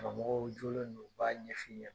Karamɔgɔw jolenw de b'a ɲɛfɔ i ɲɛna .